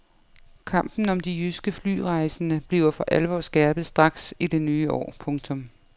Kampen om de jyske flyrejsende bliver for alvor skærpet straks i det nye år. punktum